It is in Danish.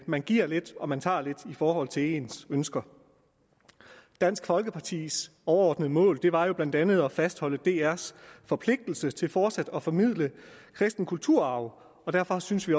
man giver lidt og man tager lidt i forhold til ens ønsker dansk folkepartis overordnede mål var jo blandt andet at fastholde drs forpligtelse til fortsat at formidle kristen kulturarv og derfor synes vi